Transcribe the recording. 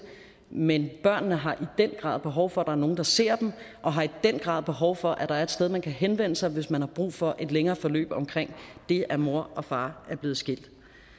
men børnene har i den grad behov for er nogle der ser dem og har i den grad behov for at der er et sted man kan henvende sig hvis man har brug for et længere forløb omkring det at moren og faren er blevet skilt